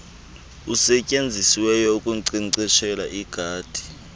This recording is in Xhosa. usetyenzisiweyo ukunkcenkceshela igadi